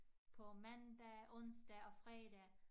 På mandag onsdag og fredag